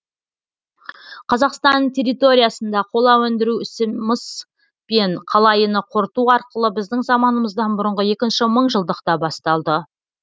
қазақстан территориясында қола өндіру ісі мыс пен қалайыны қорыту арқылы біздің заманымыздан бұрынғы екінші мыңжылдықта басталды